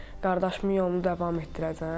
Qardaşımın yolunu davam etdirəcəm.